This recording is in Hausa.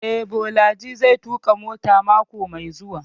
Eh, Bolaji zai tuƙa mota mako mai zuwa